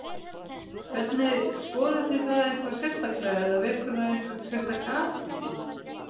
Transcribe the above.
Hvernig, skoðuð þið það eitthvað sérstaklega eða vekur það einhverja sérstaka athygli?